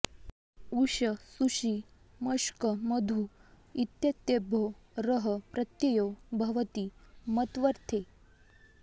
ऊष सुषि मष्क मधु इत्येतेभ्यो रः प्रत्ययो भवति मत्वर्थे